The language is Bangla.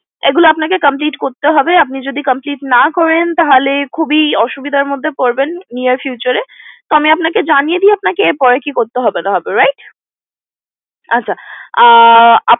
এগুলো আপনাকে complete করতে হবে আপনি যদি complete না করেন তাহলে খুবই অসুবিধার মধ্যে পরবেন near future এ তো আপনাকে আমি জানিয়ে দেই এরপরে কি করতে হবে না করতে হবে right আচ্ছা